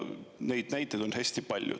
Neid näiteid on hästi palju.